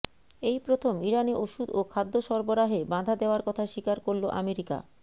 এই প্রথম ইরানে ওষুধ ও খাদ্য সরবরাহে বাধা দেয়ার কথা স্বীকার করল আমেরিকা